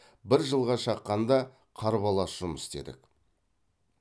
бір жылға шаққанда қарбалас жұмыс істедік